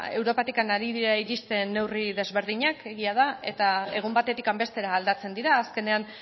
europatik ari dira iristen neurri desberdinak egia da eta egun batetik bestera aldatzen dira azkenean